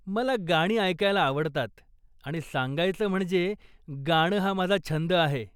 मला गाणी ऐकायला आवडतात आणि सांगायचं म्हणजे गाणं हा माझा छंद आहे.